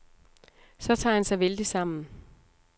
Så tager han sig vældigt sammen.